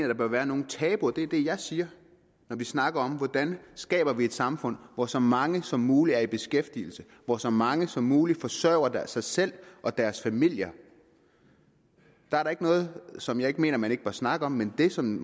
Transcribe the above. der bør være nogen tabuer det er det jeg siger når vi snakker om hvordan vi skaber et samfund hvor så mange som muligt er i beskæftigelse hvor så mange som muligt forsørger sig selv og deres familier der er da ikke noget som jeg ikke mener man ikke bør snakke om men det som